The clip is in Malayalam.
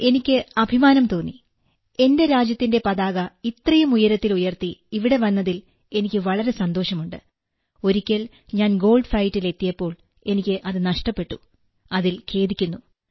സാർ എനിക്ക് അഭിമാനം തോന്നി എന്റെ രാജ്യത്തിന്റെ പതാക ഇത്രയും ഉയരത്തിൽ ഉയർത്തി ഇവിടെ വന്നതിൽ എനിക്ക് വളരെ സന്തോഷമുണ്ട് ഒരിക്കൽ ഞാൻ ഗോൾഡ്ഫൈറ്റിൽ എത്തിയപ്പോൾ എനിക്ക് അത് നഷ്ടപ്പെട്ടു അതിൽ ഖേദിക്കുന്നു